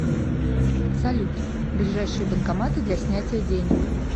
салют ближайшие банкоматы для снятия денег